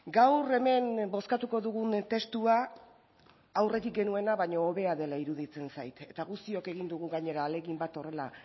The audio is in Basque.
gaur hemen bozkatuko dugun testua aurretik genuena baino hobea dela iruditzen zait eta guztion egin dugu gainera ahalegin bat horrela